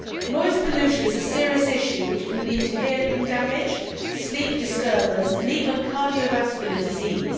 Noise pollution is a serious issue which can lead to hearing damage, sleep disturbance and even cardiovascular disease.